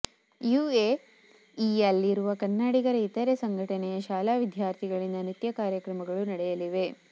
you A E ಯಲ್ಲಿರುವ ಕನ್ನಡಿಗರ ಇತರೆ ಸಂಘಟನೆಯ ಶಾಲಾ ವಿಧ್ಯಾರ್ತಿಗಳಿಂದ ನೃತ್ಯ ಕಾರ್ಯಕ್ರಮಗಳು ನಡೆಯಲಿವೆ